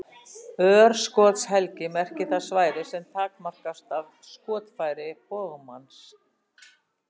Örskotshelgi merkir það svæði sem takmarkast af skotfæri bogmanns.